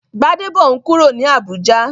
Gbadebo n kúrò ní Abùjá